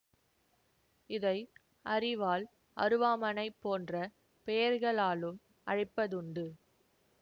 இதை அரிவாள் அருவாமணை போன்ற பெயர்களாலும் அழைப்பதுண்டு